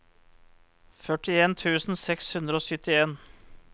førtien tusen seks hundre og syttien